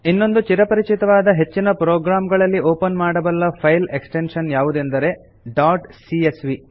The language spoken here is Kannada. ಇನ್ನೊಂದು ಚಿರಪರಿಚಿತವಾದ ಹೆಚ್ಚಿನ ಪ್ರೋಗ್ರಾಂಗಳಲ್ಲಿ ಓಪನ್ ಮಾಡಬಲ್ಲ ಫೈಲ್ ಎಕ್ಸ್ಟೆನ್ಶನ್ ಯಾವುದೆಂದರೆ ಡಾಟ್ ಸಿಎಸ್ವಿ